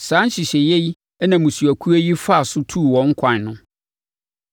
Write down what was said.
Saa nhyehyɛeɛ yi na mmusuakuo yi faa so tuu wɔn kwan no.